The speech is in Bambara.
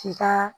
K'i ka